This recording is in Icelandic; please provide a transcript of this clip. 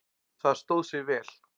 Það stóð sig vel.